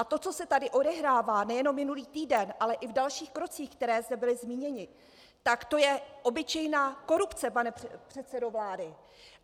A to, co se tady odehrává, nejenom minulý týden, ale i v dalších krocích, které zde byly zmíněny, tak to je obyčejná korupce, pane předsedo vlády.